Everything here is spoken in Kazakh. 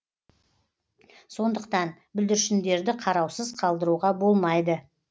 сондықтан бүлдіршіндерді қараусыз қалдыруға болмайды